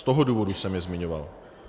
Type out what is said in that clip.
Z toho důvodu jsem je zmiňoval.